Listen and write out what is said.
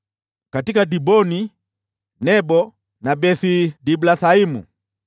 katika Diboni, Nebo na Beth-Diblathaimu,